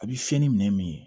A bɛ se ni minɛ min ye